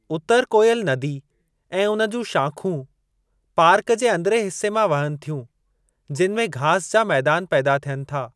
उतर कोइल नदी ऐं उन जूं शाख़ूं पार्क जे अंदिरिएं हिसे मां वहनि थियूं, जिनि में घास जा मैदान पैदा थियनि था।